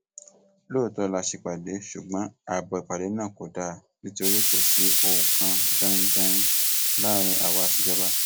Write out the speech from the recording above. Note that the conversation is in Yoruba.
lóòótọ la ṣèpàdé ṣùgbọn ààbò ìpàdé náà kò dáa nítorí kò sí ohun kan danin danin láàrin àwa àtijọba